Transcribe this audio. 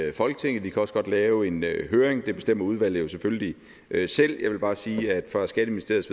i folketinget vi kan også godt lave en høring det bestemmer udvalget jo selvfølgelig selv jeg vil bare sige at fra skatteministeriets